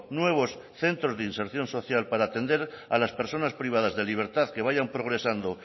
nuevos centros de inserción social para atender a las personas privadas de libertad que vayan progresando